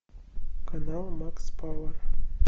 канал макс пауэр